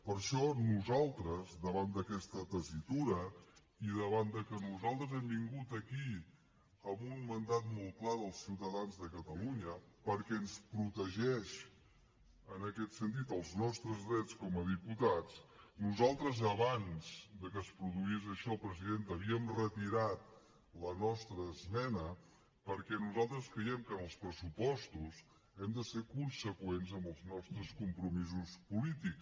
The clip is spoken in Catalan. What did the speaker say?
per això nosaltres davant d’aquesta tessitura i davant de que nosaltres hem vingut aquí amb un mandat molt clar dels ciutadans de catalunya perquè ens protegeix en aquest sentit els nostres drets com a diputats nosaltres abans de que es produís això presidenta havíem retirat la nostra esmena perquè nosaltres creiem que en els pressupostos hem de ser conseqüents amb els nostres compromisos polítics